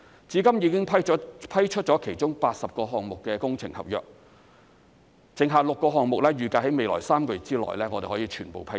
至今已批出其中80個項目的工程合約，剩下6個項目預計在未來3個月內可以全部批出。